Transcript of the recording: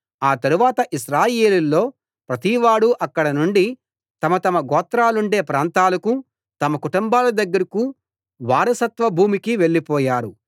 ఆ తరువాత ఇశ్రాయేలీయులలో ప్రతివాడూ అక్కడనుండి తమ తమ గోత్రాలుండే ప్రాంతాలకూ తమ కుటుంబాల దగ్గరకూ వారసత్వ భూమికీ వెళ్ళి పోయారు